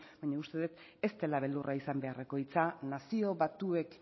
baina uste dut ez dela beldurra izan beharreko hitza nazio batuek